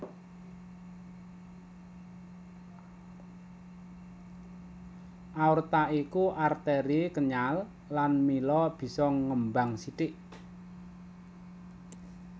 Aorta iku arteri kenyal lan mila bisa ngembang sithik